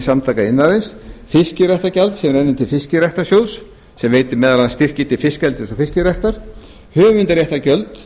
samtaka iðnaðarins fiskiræktargjald sem rennur til fiskiræktarsjóðs sem veitir meðal annars styrki til fiskeldis og fiskræktar höfundaréttargjöld